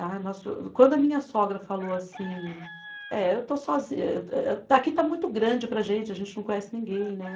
Ah, nossa, quando a minha sogra falou assim, é, eu estou sozi, aqui está muito grande para a gente, a gente não conhece ninguém, né?